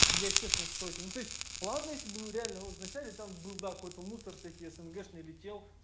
я честно в шоке ну то есть ладно если бы он реально он в начале там был да какой-то мусор всякий снгшный летел